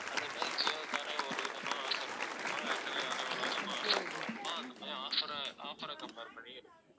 அந்த மாதிரி ஜியோகாரன் ஒரு விதமா offer போட்டிருப்பான் ஏர்டெல்காரன் ஒரு விதமா offer போட்டிருப்பான் அந்த மாதிரி offer அ offer அ compare பண்ணி இருக்கும்